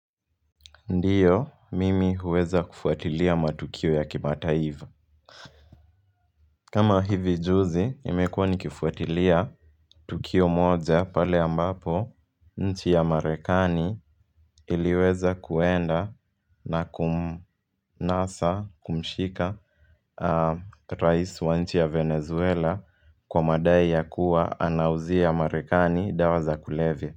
Ndio, mimi huweza kufuatilia matukio ya kimataifa. Kama hivi juzi, nimekuwa nikifuatilia tukio moja pale ambapo nchi ya marekani iliweza kuenda na kumnasa kumshika raisi wa nchi ya Venezuela kwa madai ya kuwa anauzia marekani dawa za kulevya.